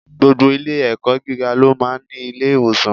Gbogbo ilé ẹ̀kọ́ gíga ló máa ń ní ilé-ìwòsàn.